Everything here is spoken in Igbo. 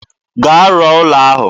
Gaa rụọ ụlọ ahụ.